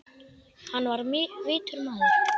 Hann var vitur maður.